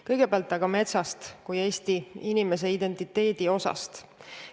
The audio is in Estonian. Kõigepealt aga metsast kui Eesti inimese identiteedi osast.